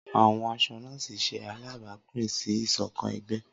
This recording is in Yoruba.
Awọn aṣọ nọ́ọ̀sì ṣe alabapin si isokan ẹgbẹ.